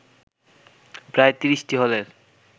প্রায় ৩০টি হলের